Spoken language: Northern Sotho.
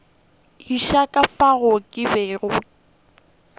etša ka fao ke bego